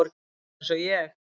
Hún er eins og ég.